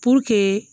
Puruke